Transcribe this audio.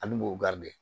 Hali bo de